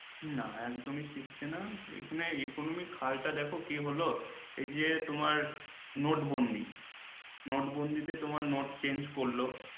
হম না একদমই শিকছে না এর জন্য economic হাল টা দেখো কি হল এই যে তোমার নোটবন্দী নোটবন্দি তে তোমার নোট change করলো